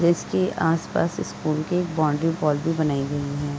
जिसके आसपास स्कूल की एक बाउनड्री वॉल भी बनाई गई है।